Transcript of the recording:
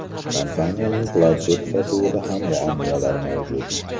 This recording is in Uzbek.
Kompaniyaning planshet sotuvida ham muammolar mavjud.